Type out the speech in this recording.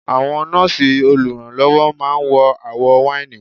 Àwọn nọ́ọ̀sì olùrànlọ́wọ́ máa ń wọ àwọ̀ wáìnì.